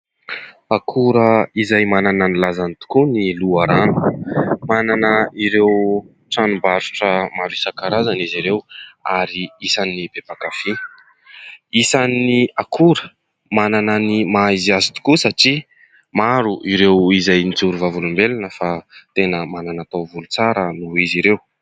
Akora izay manana ny lazany tokoa ny loharano. Manana ireo tranombarotra maro isan-karazany izy ireo ary isan'ny be mpankafỳ. Isan'ny akora manana ny maha izy azy tokoa satria maro ireo izay mijoro vavolombelona fa tena manana taovolo tsara noho izy ireo.